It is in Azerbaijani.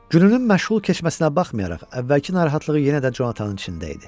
Gününün məşğul keçməsinə baxmayaraq, əvvəlki narahatlıq yenə də Jonathanın içində idi.